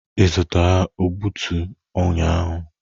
Ị zụtara egbutu ụnyaahụ?